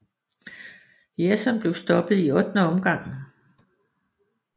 Jerson blev stoppet i ottende omgang